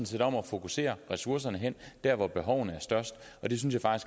set om at fokusere ressourcerne der hvor behovene er størst og det synes